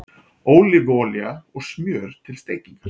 Ólífuolía og smjör til steikingar